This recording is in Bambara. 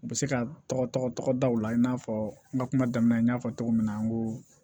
U bɛ se ka tɔgɔ tɔgɔ da u la i n'a fɔ n ka kuma daminɛ n y'a fɔ cogo min na an ko